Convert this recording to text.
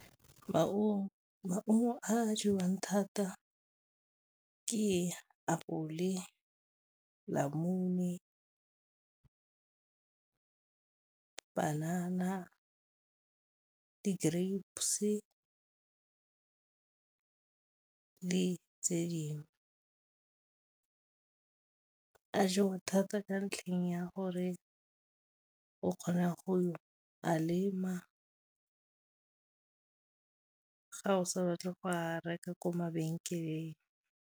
Maungo a jewang thata ke apole, , banana, di-grapes le tse dingwe. A jewa thata ka ntlheng ya gore o kgona go a lema, ga o sa batle go a reka ko mabenkeleng.